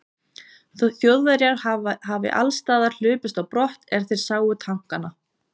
Þjóðverjar hafi allsstaðar hlaupist á brott, er þeir sáu tankana.